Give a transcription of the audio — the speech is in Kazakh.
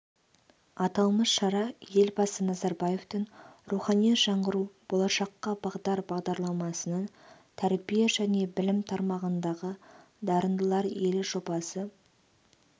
аталмыш шара елбасы назарбаевтың рухани жаңғыру болашаққа бағдар бағдарламасының тәрбие және білім тармағындағы дарындылар елі жобасы